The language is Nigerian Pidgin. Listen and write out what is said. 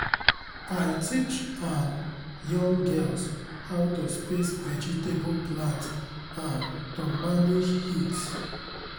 i teach um young girls how to space vegetable plants um to manage heat